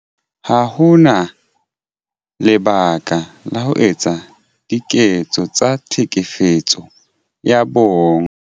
Ha ho na lebaka la ho etsa diketso tsa Tlhekefetso ya Bong